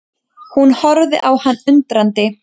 Hún horfir á hann undrandi.